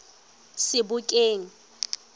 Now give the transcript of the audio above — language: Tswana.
sebokeng